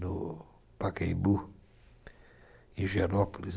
no Pacaembu, em Gianópolis.